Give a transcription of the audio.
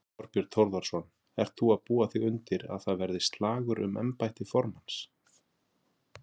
Þorbjörn Þórðarson: Ert þú að búa þig undir að það verði slagur um embætti formanns?